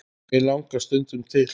mig langar stundum til.